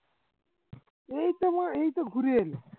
এইতো এইতো ঘুরে এলি